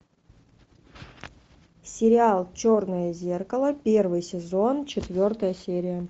сериал черное зеркало первый сезон четвертая серия